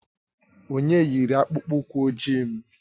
Onye yiri akpụkpọ ụkwụ ojii m?